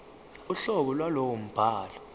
uhlobo lwalowo mbhalo